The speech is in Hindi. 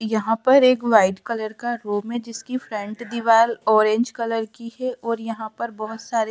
यहां पर एक व्हाइट कलर का रूम है जिसकी फ्रंट दीवाल ऑरेंज कलर की हे और यहां पर बहोत सारे --